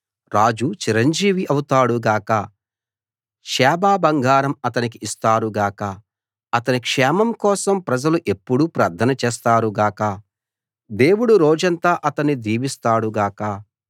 రాజు చిరంజీవి అవుతాడు గాక షేబ బంగారం అతనికి ఇస్తారు గాక అతని క్షేమం కోసం ప్రజలు ఎప్పుడూ ప్రార్థన చేస్తారు గాక దేవుడు రోజంతా అతణ్ణి దీవిస్తాడు గాక